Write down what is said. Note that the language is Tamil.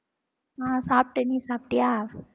ஆஹ் சாப்பிட்டேன் நீ சாப்பிட்டியா